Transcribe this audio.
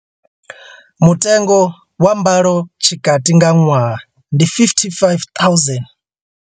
Mutengo wa mbalo tshikati nga ṅwaha ndi R55 000.